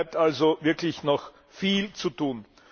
Es bleibt also wirklich noch viel zu tun.